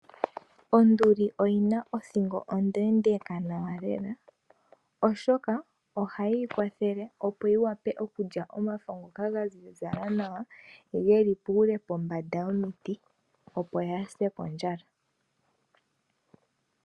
Onduli oyina othingo ondeendeeka nawa lela. Opo yi vule oku lya omafo ngoka ga ziza nawa geli puule pombanda yomiti kaayi se kondjala.